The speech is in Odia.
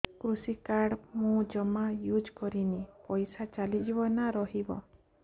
କୃଷି କାର୍ଡ ମୁଁ ଜମା ୟୁଜ଼ କରିନି ପଇସା ଚାଲିଯିବ ନା ରହିବ